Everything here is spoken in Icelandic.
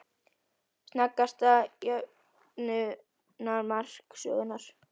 Sneggsta jöfnunarmark sögunnar?